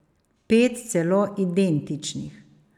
Pet celo identičnih.